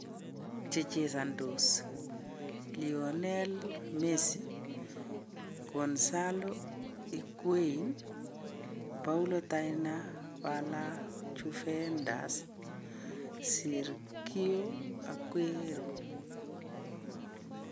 Chechesondos:Lionell Messi, Gonzalo Higuain, Paulo DybalaJuventus, Sergio Aguero .